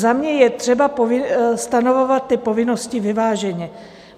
Za mě je třeba stanovovat ty povinnosti vyváženě.